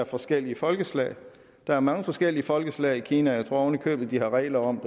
er forskellige folkeslag der er mange forskellige folkeslag i kina jeg tror oven i købet de har regler om